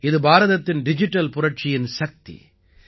இது பாரதத்தின் டிஜிட்டல் புரட்சியின் சக்தி